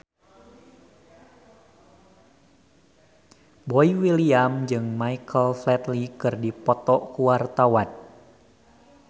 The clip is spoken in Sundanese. Boy William jeung Michael Flatley keur dipoto ku wartawan